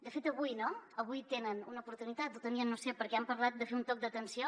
de fet avui no avui en tenen una oportunitat o la tenien no ho sé perquè han parlat de fer un toc d’atenció